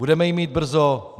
Budeme ji mít brzo?